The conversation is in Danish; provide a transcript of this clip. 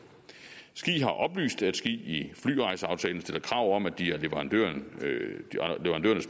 ski har oplyst at ski i flyrejseaftalen stiller krav om at de af leverandørernes